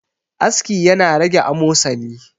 aski yana rage amosani